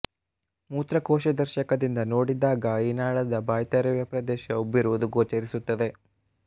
ಮೂತ್ರಕೋಶದರ್ಶಕದಿಂದ ನೋಡಿದಾಗ ಈ ನಾಳದ ಬಾಯ್ದೆರೆಯುವ ಪ್ರದೇಶ ಉಬ್ಬಿರುವುದು ಗೋಚರಿಸುತ್ತದೆ